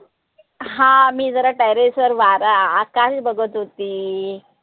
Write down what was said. आह मी जरा terrace वर वारा आकाश बघत होती.